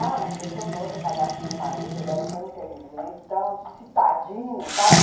Ah, mas foi tão bom ter casado com o meu marido, ele era tão inteligente, tão citadino, sabe?